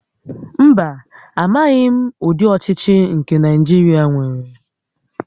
Mba, amaghim udi ochichi nke Naijiria nwere